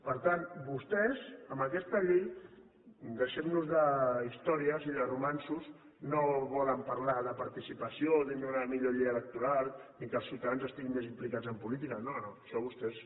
per tant vostès amb aquesta llei deixem nos d’històries i de romanços no volen parlar de participació o d’una millor llei electoral ni que els ciutadans estiguin més implicats en política no no això a vostès